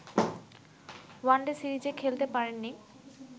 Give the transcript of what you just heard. one day সিরিজে খেলতে পারেননি